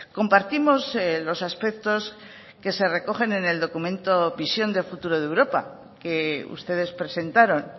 compartimos los aspectos que se recogen en el documento visión de futuro de europa que ustedes presentaron